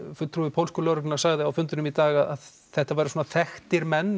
fulltrúi pólsku lögreglunnar sagði á fundinum í dag að þetta væri þekktir menn